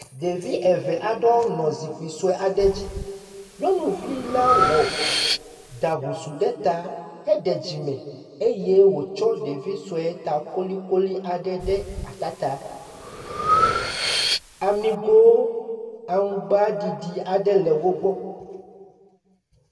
Ɖevi eve aɖewo nɔ zikpi sue aɖe dzi. Nyɔnuvi la wɔ ɖa husuu ɖe ta heɖe dzime eye wòtsɔ ɖevi sue ta kolikoli aɖe ɖe ata ta. Amigo aŋugba ɖiɖi aɖe le wogbɔ.